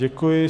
Děkuji.